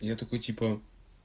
я такой типа